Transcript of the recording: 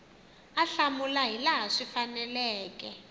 a hlamula hilaha swi faneleke